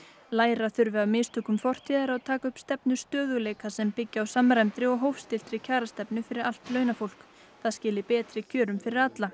læra þurfi af mistökum fortíðar og taka upp stefnu stöðugleika sem byggi á samræmdri og hófstilltri kjarastefnu fyrir allt launafólk það skili betri kjörum fyrir alla